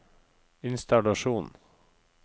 innstallasjon